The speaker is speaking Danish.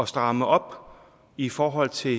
stramme op i forhold til